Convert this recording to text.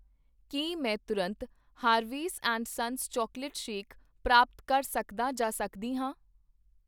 ਕੀ ਮੈਂ ਤੁਰੰਤ Harveys and Sons chocolate shake ਪ੍ਰਾਪਤ ਕਰ ਸਕਦਾ ਜਾਂ ਸਕਦੀ ਹਾਂ?